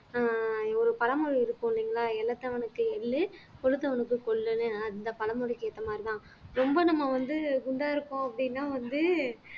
ஒரு பழமொழி இருக்கும் இல்லைங்களா எள்ளு கொழுத்தவனுக்கு கொள்ளுன்னு ஆனா இந்த பழமொழிக்கு ஏத்த மாதிரிதான் ரொம்ப நம்ம வந்து குண்டா இருக்கோம் அப்படின்னா வந்து